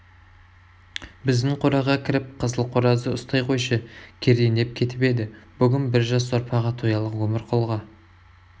біздің қораға кіріп қызыл қоразды ұстай қойшы кердеңдеп кетіп еді бүгін бір жас сорпаға тоялық өмірқұлға